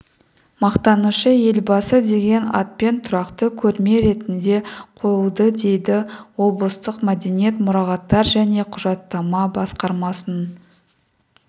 мақтанышы елбасы деген атпен тұрақты көрме ретінде қойылды дейді облыстық мәдениет мұрағаттар және құжаттама басқармасының